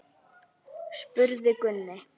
spurði Gunni.